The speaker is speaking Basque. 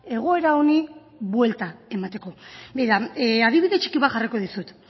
egoera honi buelta emateko adibide txiki bat jarri behar dizut